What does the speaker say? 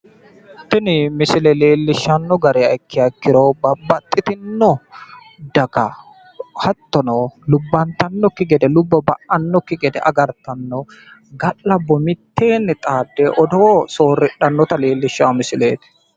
Tini misile leelishano gede ikkiro lubbo ba'nokki gede ga'labnote bissa mittowa gamba yte hedo sooridhanno garati